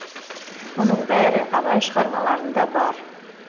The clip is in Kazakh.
мұның бәрі абай шығармаларында бар